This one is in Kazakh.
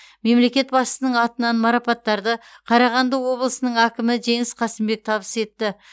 мемлекет басшысының атынан марапаттарды қарағанды облысының әкімі жеңіс қасымбек табыс етті